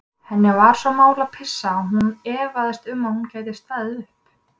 Henni var svo mál að pissa að hún efaðist um að hún gæti staðið upp.